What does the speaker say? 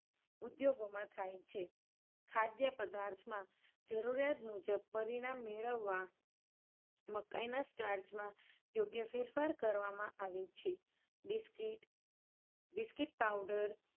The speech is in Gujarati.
ઉધૌગોમાં થાય છે. ખાધ્ય પદાર્થમાં જરુરિયાત મુજબ પરિણામ મેળવવા મકાઇના starch માં યોગ્ય ફેરફાર કરવામાં આવે છે. biscuit, biscuit powder